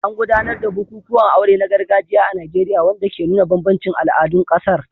An gudanar da bukukuwan aure na gargajiya a Najeriya, wanda ke nuna bambancin al'adun ƙasar.